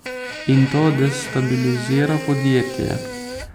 In to destabilizira podjetje.